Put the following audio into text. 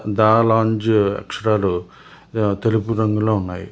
దా లాంజు అక్షరాలు తెలుపు రంగులో ఉన్నాయి.